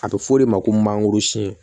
A bɛ f'o de ma ko mangoro sun